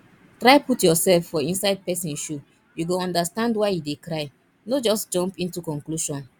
try put yourself for inside person shoe you go understand why e dey cry no just jump into conclusion